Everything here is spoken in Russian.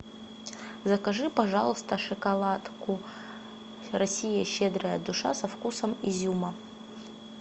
закажи пожалуйста шоколадку россия щедрая душа со вкусом изюма